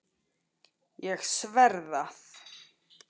Ég sver það.